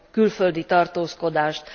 külföldi tartózkodást.